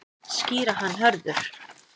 Skýra hann Hörður.